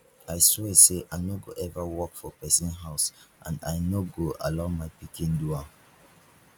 i swear say i no go ever work for person house and i no go allow my pikin do am